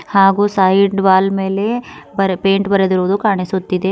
ಹಾಗೂ side wall ಮೇಲೆ ಬರೆ ಪೈಂಟ್ ಬರೆದಿರುವುದು ಕಾಣಿಸುತ್ತಿದೆ.